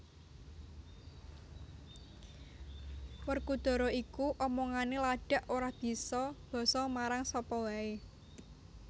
Werkudara iku omongane ladak ora bisa basa marang sapa wae